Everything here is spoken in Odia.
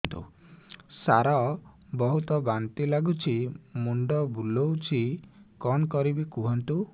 ସାର ବହୁତ ବାନ୍ତି ଲାଗୁଛି ମୁଣ୍ଡ ବୁଲୋଉଛି କଣ କରିବି କୁହନ୍ତୁ